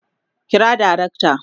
Kira darakta